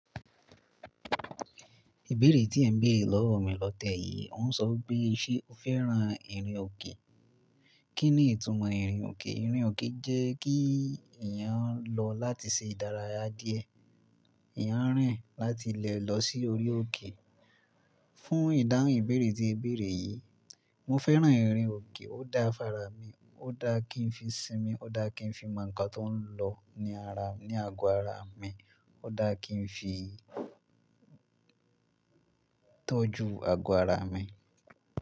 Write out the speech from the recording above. Ìbéèrè tí ẹ̀ ń béèrè lọ́wọ́ mi lọ́tẹ́ yìí ń sọ pé ṣé o fẹ́ran ìrìn òkè? Kí ni ìtumọ̀ ìrìn òkè? Ìrìn òkè jẹ́ kí èèyàn lọ láti ṣe ìdárayá díẹ̀. Èèyàn rìn láti ilẹ̀ lọ sí orí òkè. Fún ìdáhùn ìbéèrè tí e béèrè yìí, mo fẹ́ran ìrìn òkè. Ó da fára mi, ó dá kí n fi sinmi, ó dá kí n fi mọ̀ nǹkan tó ń lọ ní ara, ní àgọ́ ara mi. Ó dá kí n fi tọ́jú àgọ́ ara mi.